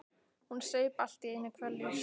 Hún saup allt í einu hveljur.